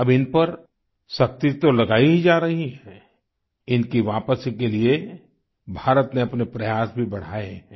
अब इन पर सख्ती तो लगायी ही जा रही है इनकी वापसी के लिए भारत ने अपने प्रयास भी बढ़ायें हैं